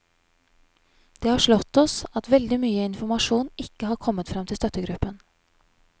Det har slått oss at veldig mye informasjon ikke har kommet frem til støttegruppen.